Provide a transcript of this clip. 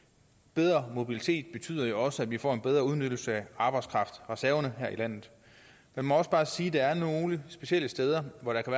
bedre mobilitet betyder jo også at vi får en bedre udnyttelse af arbejdskraftreserverne her i landet man må også bare sige at der er nogle specielle steder hvor der kan